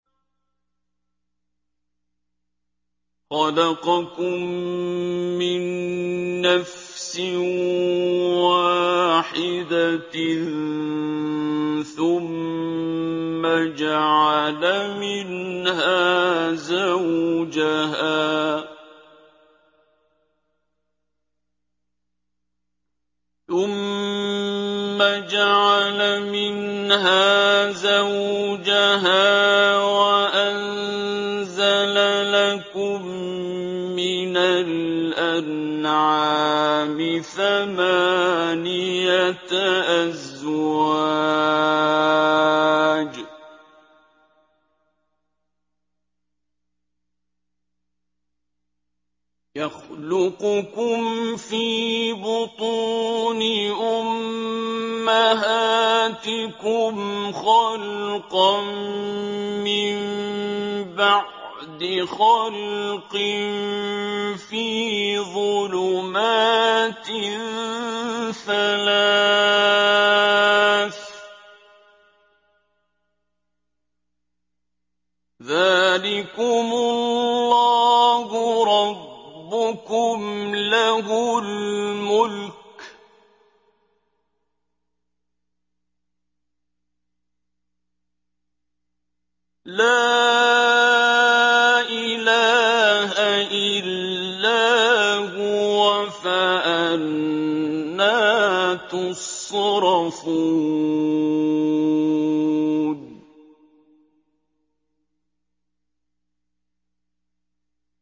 خَلَقَكُم مِّن نَّفْسٍ وَاحِدَةٍ ثُمَّ جَعَلَ مِنْهَا زَوْجَهَا وَأَنزَلَ لَكُم مِّنَ الْأَنْعَامِ ثَمَانِيَةَ أَزْوَاجٍ ۚ يَخْلُقُكُمْ فِي بُطُونِ أُمَّهَاتِكُمْ خَلْقًا مِّن بَعْدِ خَلْقٍ فِي ظُلُمَاتٍ ثَلَاثٍ ۚ ذَٰلِكُمُ اللَّهُ رَبُّكُمْ لَهُ الْمُلْكُ ۖ لَا إِلَٰهَ إِلَّا هُوَ ۖ فَأَنَّىٰ تُصْرَفُونَ